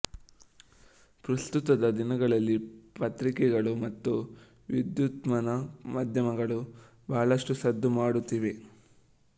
ಪ್ರಸ್ತುತದ ದಿನಗಳಲ್ಲಿ ಪತ್ರಿಕೆಗಳು ಮತ್ತು ವಿದ್ಯುದ್ಮನ ಮಾಧ್ಯಮಗಳು ಬಹಳಷ್ಟು ಸದ್ದು ಮಾಡುತ್ತಿವೆ